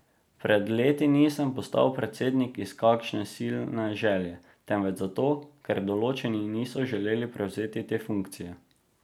Pred leti nisem postal predsednik iz kakšne silne želje, temveč zato, ker določeni niso želeli prevzeti te funkcije.